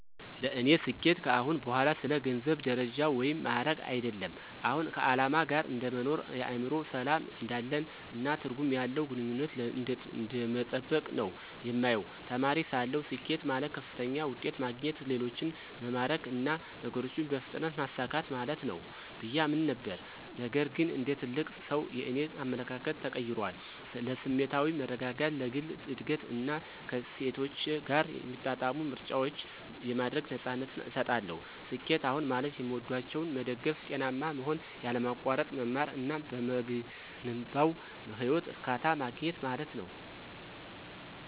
ለእኔ ስኬት ከአሁን በኋላ ስለ ገንዘብ፣ ደረጃ ወይም ማዕረግ አይደለም። አሁን ከዓላማ ጋር እንደ መኖር፣ የአእምሮ ሰላም እንዳለን፣ እና ትርጉም ያለው ግንኙነትን እንደመጠበቅ ነው የማየው። ተማሪ ሳለሁ፣ ስኬት ማለት ከፍተኛ ውጤት ማግኘት፣ ሌሎችን መማረክ እና ነገሮችን በፍጥነት ማሳካት ማለት ነው ብዬ አምን ነበር። ነገር ግን እንደ ትልቅ ሰው, የእኔ አመለካከት ተቀይሯል. ለስሜታዊ መረጋጋት፣ ለግል እድገት እና ከእሴቶቼ ጋር የሚጣጣሙ ምርጫዎችን የማድረግ ነፃነትን እሰጣለሁ። ስኬት አሁን ማለት የሚወዷቸውን መደገፍ፣ ጤናማ መሆን፣ ያለማቋረጥ መማር እና በምገነባው ህይወት እርካታ ማግኘት ማለት ነው።